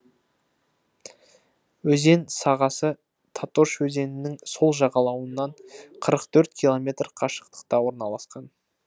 өзен сағасы татош өзенінің сол жағалауынан қырық төрт километр қашықтықта орналасқан